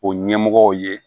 O ɲɛmɔgɔw ye